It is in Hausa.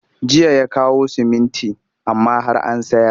Jiya ya kawo siminti amma har an sayar